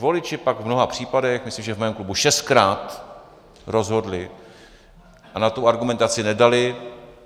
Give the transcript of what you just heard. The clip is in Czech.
Voliči pak v mnoha případech, myslím, že v mém klubu šestkrát, rozhodli a na tu argumentaci nedali.